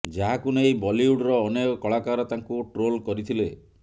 ଯାହାକୁ ନେଇ ବଲିଉଡ୍ର ଅନେକ କଳାକାର ତାଙ୍କୁ ଟ୍ରୋଲ କରିଥିଲେ